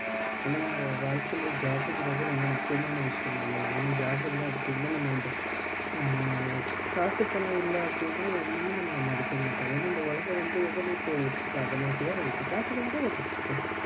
ஏன்னா வாழ்க்கைல job குங்கிறது ரொம்ப முக்கியம் விஷயம் தானே? ஏன்னா job இல்ல அப்டினா நம்ம வந்து ஹம் காசு பணம் இல்ல அப்படினா எவனுமே நம்பள மதிக்க மாட்டான் ஏன்னா இந்த உலகம் வந்து எத நோக்கி ஓடிட்டு இருக்கு அத நோக்கி தான் ஓடிட்டு இருக்கு காசுக்காக தான் ஓடிட்டு இருக்கு